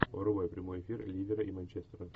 врубай прямой эфир ливера и манчестера